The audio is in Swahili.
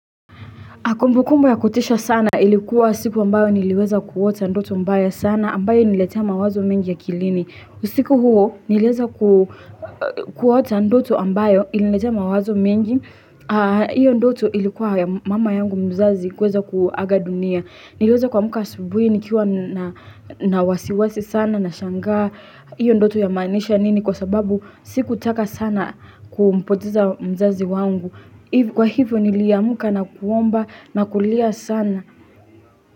Kumbukumbu ya kutisha sana ilikuwa siku ambayo niliweza kuota ndoto mbaya sana ambayo ilinitea mawazo mengi akilini. Usiku huo niliweza kuota ndoto ambayo ilinitea mawazo mengi. Hiyo ndoto ilikuwa ya mama yangu mzazi kuweza kuaga dunia. Niliweza kuamka asubuhi nikiwa na wasiwasi sana nashangaa. Hiyo ndoto yamaanisha nini kwa sababu sikutaka sana kumpoteza mzazi wangu. Kwa hivyo niliamka na kuomba na kulia sana.